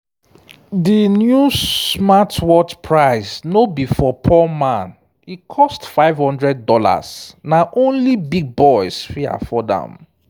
di new smartwatch price no be for poor man e cost five hundred dollars na only big boys fit afford am.